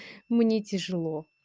мне тяжело